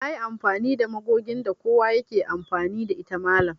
Nayi amfani da magogin da kowa yake amfani da ita mallam